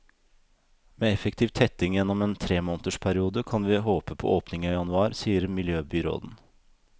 Med effektiv tetting gjennom en tremånedersperiode, kan vi håpe på åpning i januar, sier miljøbyråden.